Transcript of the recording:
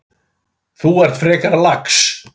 Þú ert frekar lax.